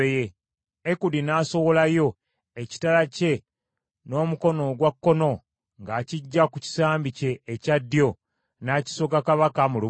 Ekudi n’asowolayo ekitala kye n’omukono ogwa kkono ng’akiggya ku kisambi kye ekya ddyo n’akisogga kabaka mu lubuto;